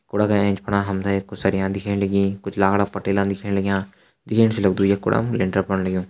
कूड़ा का एंच फणा हम तें कुछ सरिया दिखेण लगी कुछ लाखड़ा पटेला दिखेण लग्यां दिखेण से लग्दु ये कूड़ा मा लेंटर पण लग्युं।